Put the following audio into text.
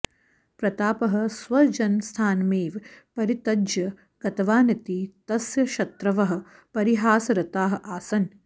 प्रतापः स्वजन्मस्थानमेव परित्यज्य गतवानिति तस्य शत्रवः परिहासरताः आसन्